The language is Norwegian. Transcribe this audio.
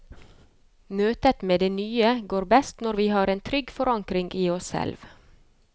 Møtet med det nye går best når vi har en trygg forankring i oss selv.